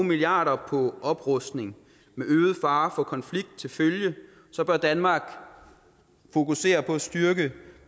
milliarder på oprustning med øget fare for konflikt til følge bør danmark fokusere på at styrke